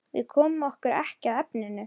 Við komum okkur ekki að efninu.